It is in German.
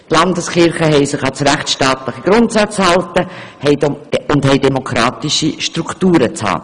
Die Landeskirchen haben sich an rechtsstaatliche Grundsätze zu halten und haben demokratische Strukturen aufzuweisen.